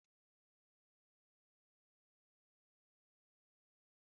Chijioke hụrụ etu ede n'arọ ofe nne ya n'anya